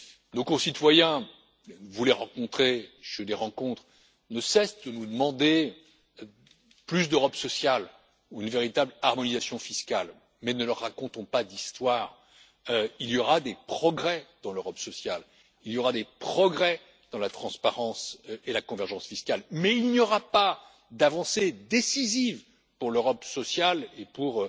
Nos concitoyens vous les rencontrez, je les rencontre ne cessent de nous demander plus d'Europe sociale ou une véritable harmonisation fiscale, mais ne leur racontons pas d'histoires, il y aura des progrès dans l'Europe sociale, il y aura des progrès dans la transparence et la convergence fiscales, mais il n'y aura pas d'avancées décisives pour l'Europe sociale et pour